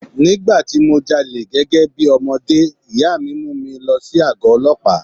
Ní ìgbà tí mo jalè gẹ́gẹ́ bí ọmọdé, ìyá mi mú mi lọ sí àgó Ọlọ́pàá.